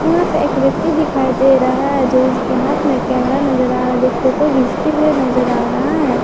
यहां पे एक व्यक्ति दिखाई दे रहा है जो की इसके हाथ में एक कैमरा नजर आ रहा है जो फोटो घीचते हुए नजर आ रहा है।